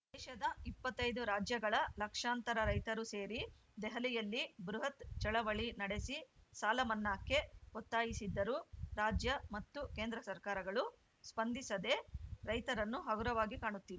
ದೇಶದ ಇಪ್ಪತ್ತ್ ಐದು ರಾಜ್ಯಗಳ ಲಕ್ಷಾಂತರ ರೈತರು ಸೇರಿ ದೆಹಲಿಯಲ್ಲಿ ಬೃಹತ್‌ ಚಳವಳಿ ನಡೆಸಿ ಸಾಲ ಮನ್ನಾಕ್ಕೆ ಒತ್ತಾಯಿಸಿದ್ದರೂ ರಾಜ್ಯ ಮತ್ತು ಕೇಂದ್ರ ಸರ್ಕಾರಗಳು ಸ್ಪಂದಿಸದೆ ರೈತರನ್ನು ಹಗುರವಾಗಿ ಕಾಣುತ್ತಿವೆ